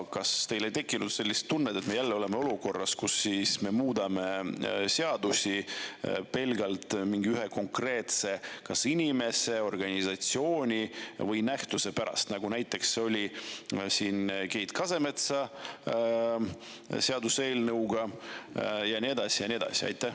Kas teil ei tekkinud sellist tunnet, et me oleme jälle olukorras, kus me muudame seadusi pelgalt ühe konkreetse kas inimese, organisatsiooni või nähtuse pärast, nagu näiteks oli Keit Kasemetsa seaduseelnõuga ja nii edasi ja nii edasi?